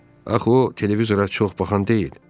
Axı o televizora çox baxan deyil.